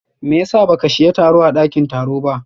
meyasa baka shiya taro a dakin tarowa ba?